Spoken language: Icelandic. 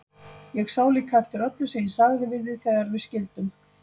Ég sá líka eftir öllu sem ég sagði við þig þegar við skildum.